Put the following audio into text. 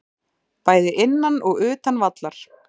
Bæði innan og utan vallar.